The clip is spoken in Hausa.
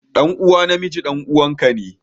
Ɗan uwa na miji ɗan'uwana ka ne.